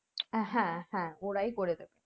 হ্যাঁ হ্যাঁ ওরাই করে দিবে